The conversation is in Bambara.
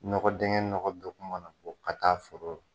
Nɔkɔ dingɛ nɔgɔ don ko ma na fɔ ka taa foro rɔ